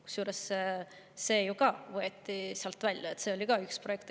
Kusjuures see võeti ju ka sealt välja, see oli ka üks projekt.